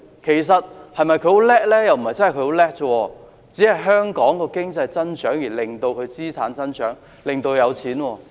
又不是真的很厲害，只是香港的經濟增長，令他的資產增長，令他變得有錢。